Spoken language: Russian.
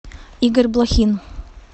игорь блохин